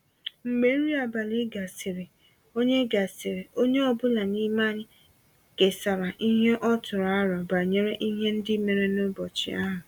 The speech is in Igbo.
Mgbe nri abalị gasịrị, onye gasịrị, onye ọ bụla n’ime anyị kesara ihe ọ tụrụ aro banyere ihe ndị mere n’ụbọchị ahụ.